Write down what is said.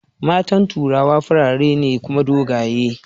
matan turawa farare ne Kuma dogaye